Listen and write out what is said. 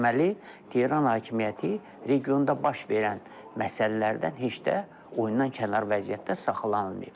Deməli, Tehran hakimiyyəti regionda baş verən məsələlərdən heç də oyundan kənar vəziyyətdə saxlanılmayıb.